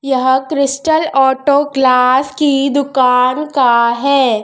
यह Crystal Auto Class की दुकान का है।